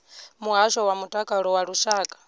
muhasho wa mutakalo wa lushaka